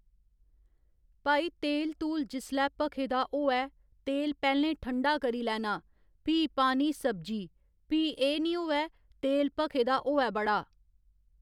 भई तेल तूल जिसलै भखे दा होऐ तेल पैह्‌लें ठंडा करी लैना फ्ही पानी सब्जी फ्ही एह् निं होऐ तेल भखे दा होऐ बड़ा